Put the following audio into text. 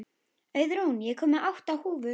Auðrún, ég kom með átta húfur!